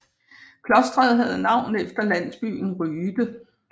Klostret havde navn efter landsbyen Ryde